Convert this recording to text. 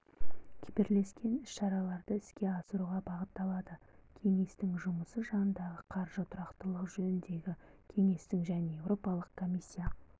бірлескен іс-шараларды іске асыруға бағытталады кеңестің жұмысы жанындағы қаржы тұрақтылығы жөніндегі кеңестің және еуропалық комиссия